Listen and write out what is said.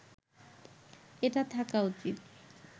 এটা থাকা উচিত